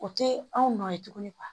O tɛ anw nɔ ye tuguni